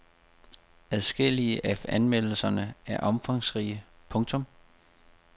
Adskillige af anmeldelserne er omfangsrige. punktum